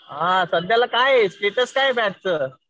सध्याला काय स्टेटस आहे बॅचचं?